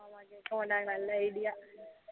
அஹ் கேக்கமாடாங்க நல்லா idea